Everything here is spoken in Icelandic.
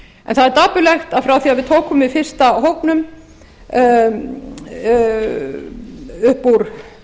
en það er dapurlegt að frá því að við tókum við fyrsta hópnum upp úr